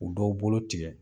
U dɔw bolo tigɛ.